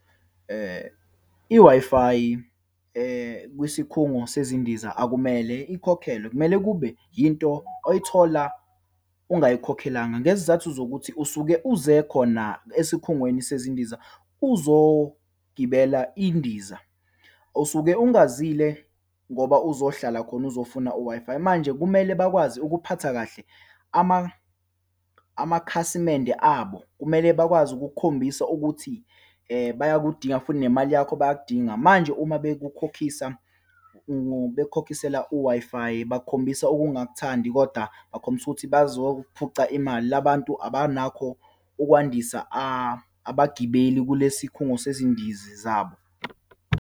I-Wi-Fi, kwisikhungo sezindiza akumele ikhokhelwe. Kumele kube yinto oyithola ungayikhokhelanga ngezizathu zokuthi usuke uze khona esikhungweni sezindiza, uzogibela indiza, usuke ungazile ngoba uzohlala khona, uzofuna u-Wi-Fi. Manje kumele bakwazi ukuphatha kahle amakhasimende abo. Kumele bakwazi ukukukhombisa ukuthi bayakudinga futhi nemali yakho bayakudinga. Manje uma bakukhokhisa, bekukhokhisela u-Wi-Fi, bakhombisa ukungakuthandi, kodwa bakhombisa ukuthi bakuzophuca imali. La bantu abanakho ukwandisa abagibeli kulesi khungo sezindizi zabo.